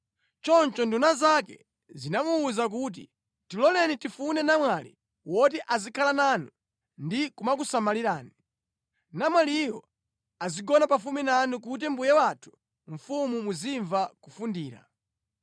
Choncho nduna zake zinamuwuza kuti, “Tiloleni tifune namwali woti azikhala nanu ndi kumakusamalirani. Namwaliyo azigona pafupi nanu kuti mbuye wathu mfumu muzimva kufundira.”